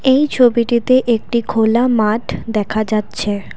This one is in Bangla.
এই ছবিটিতে একটি খোলা মাঠ দেখা যাচ্ছে।